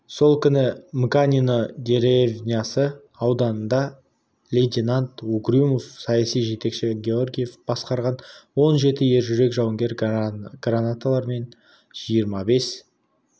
сол күні мыканино деревнясы ауданында лейтенант угрюмов саяси жетекші георгиев басқарған он жеті ержүрек жауынгер гранаталармен жиырма бес